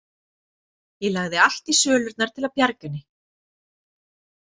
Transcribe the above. Ég lagði allt í sölurnar til að bjarga henni.